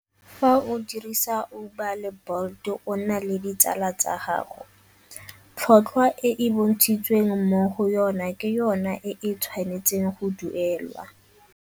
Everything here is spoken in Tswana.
Fa o dirisa Uber le Bolt o na le ditsala tsa gago, tlhotlhwa e e bontshitsweng mo go yona ke yona e e tshwanetseng go duelwa.